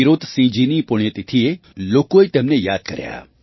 ટિરોતસિંહજીની પુણ્યતિથિએ લોકોએ તેમને યાદ કર્યા